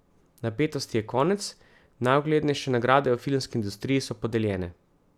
Napetosti je konec, najuglednejše nagrade v filmski industriji so podeljene.